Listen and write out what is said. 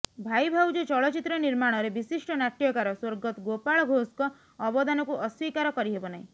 ଭାଇ ଭାଉଜ ଚଳଚ୍ଚିତ୍ର ନିର୍ମାଣରେ ବିଶିଷ୍ଟ ନାଟ୍ୟକାର ସ୍ୱର୍ଗତ ଗୋପାଳ ଘୋଷଙ୍କ ଅବଦାନକୁ ଅସ୍ବୀକାର କରିହେବ ନାହିଁ